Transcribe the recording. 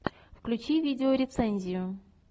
включи видео рецензию